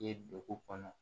Ye dugu kɔnɔ